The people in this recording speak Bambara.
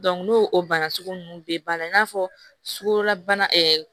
n'o o bana sugu ninnu bɛɛ banna i n'a fɔ sukorobana